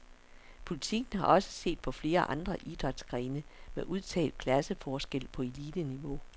Politiken har også set på flere andre idrætsgrene med udtalt klasseforskel på eliteniveau.